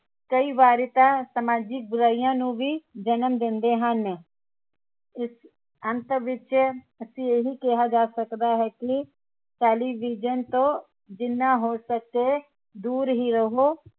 ਕਈ ਵਾਰੀ ਤਾਂ ਸਮਾਜਿਕ ਬੁਰਾਈਆਂ ਨੂੰ ਵੀ ਜਨਮ ਦਿੰਦੇ ਹਨ ਇਸ ਅੰਤ ਵਿਚ ਅਸੀਂ ਇਹੀ ਕਿਹਾ ਜਾ ਸਕਦਾ ਹੈ ਕਿ television ਤੋਂ ਜਿਨ੍ਹਾਂ ਹੋ ਸਕੇ ਦੂਰ ਹੀ ਰਹੋ